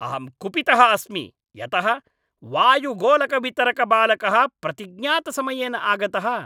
अहं कुपितः अस्मि यतः वायुगोलकवितरकबालकः प्रतिज्ञातसमये न आगतः।